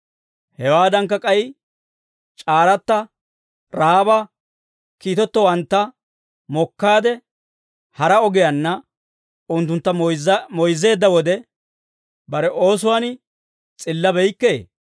Hewaadankka k'ay c'aaratta Ra'aaba kiitettowantta mokkaade hara ogiyaanna unttuntta moyzzeedda wode, bare oosuwaan s'illabeykkee?